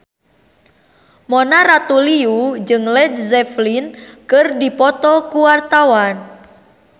Mona Ratuliu jeung Led Zeppelin keur dipoto ku wartawan